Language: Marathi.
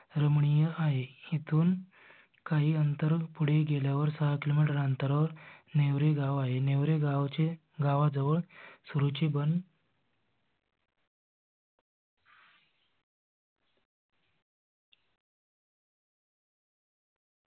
रमणीय आहे. इथून काही अंतर पुढे गेल्यावर सहा किलो मीटर अंतरावर नेवरे गाव आहे. नेवरे गावचे गावाजवळ रूचीबन